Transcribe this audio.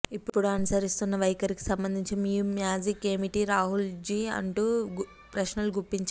ఇపుడు అనుసరిస్తున్న వైఖరికి సంబంధించి మీ మ్యాజిక్ ఏమిటి రాహుల్జీ అంటూ ప్రశ్నలు గుప్పించారు